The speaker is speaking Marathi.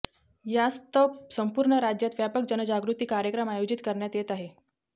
यास्तव संपूर्ण राज्यात व्यापक जनजागृती कार्यक्रम आयोजित करण्यात येत आहे